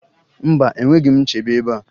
Mba enweghị m nchebe ebea